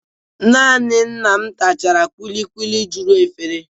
Nanị nna m tachara kulikuli juru efere.